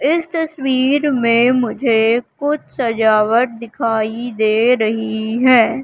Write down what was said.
इस तस्वीर में मुझे कुछ सजावट दिखाई दे रही है।